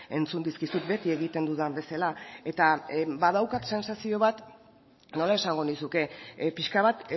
entzun dizkizut beti egiten dudan bezala eta badaukat sentsazio bat nola esango nizuke pixka bat